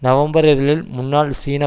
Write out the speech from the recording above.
November இதழில் முன்னாள் சீன